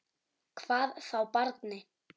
Hvað þá barni.